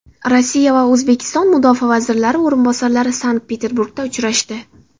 Rossiya va O‘zbekiston mudofaa vazirlari o‘rinbosarlari Sankt-Peterburgda uchrashdi.